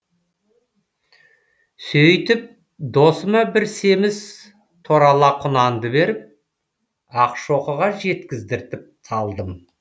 сөйтіп досыма бір семіз торала құнанды беріп ақшоқыға жеткіздіртіп салдым